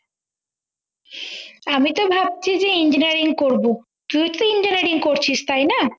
আমি তো ভাবছি যে engineering করবো তুই তো engineering করছিস তাই না